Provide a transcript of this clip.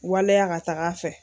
Waleya ka taagafɛ.